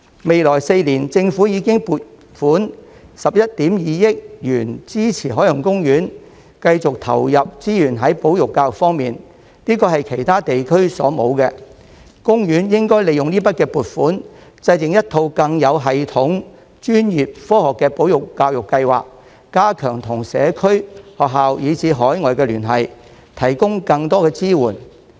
未來4年，政府已撥款11億 2,000 萬元支持海洋公園繼續投入資源在保育教育方面，這是其他地區所沒有的，公園應該利用這筆撥款制訂一套更有系統、專業及科學的保育教育計劃，加強與社區、學校以至海外的聯繫，提供更多支援。